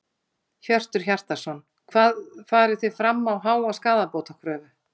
Hjörtur Hjartarson: Hvað farið þið fram á háa skaðabótakröfu?